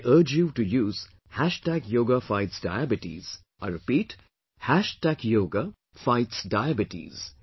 I urge you to use "Hashtag Yoga Fights Diabetes" I repeat "Hashtag Yoga Fights Diabetes"